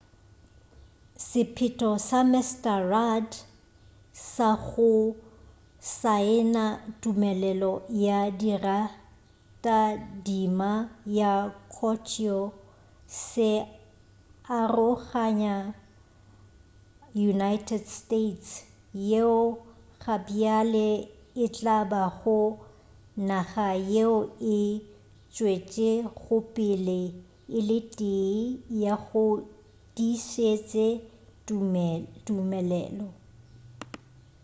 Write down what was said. sephetho sa mr rudd sa go saena tumelelo ya leratadima la kyoto se aroganya united states yeo gabjale e tla bago naga yeo e tšwetšegopele e le tee ya go se tiišetše tumelelo